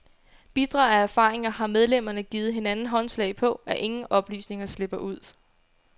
Bitre af erfaringer har medlemmerne givet hinanden håndslag på, at ingen oplysninger slipper ud.